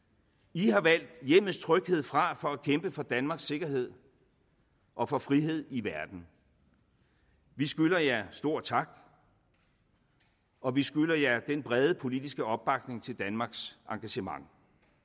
i har valgt hjemmets tryghed fra for at kæmpe for danmarks sikkerhed og for frihed i verden vi skylder jer stor tak og vi skylder jer den brede politiske opbakning til danmarks engagement